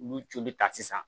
Ulu joli ta sisan